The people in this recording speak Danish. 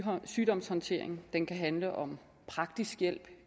sygdomshåndtering den kan handle om praktisk hjælp